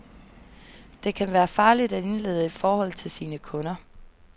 Det kan være farligt at indlede et forhold til sine kunder.